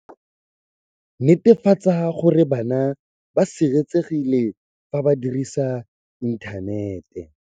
Netefatsa gore bana ba sireletsegile fa ba dirisa inthanete.